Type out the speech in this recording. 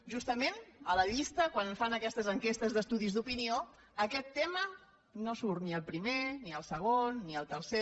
justament a la llista quan es fan aquestes enquestes d’estudis d’opinió aquest tema no hi surt ni al primer ni al segon ni al tercer